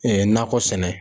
nakɔ sɛnɛ